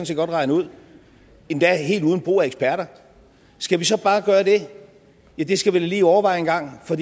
set godt regne ud endda helt uden brug af eksperter skal vi så bare gøre det ja det skal vi da lige overveje en gang for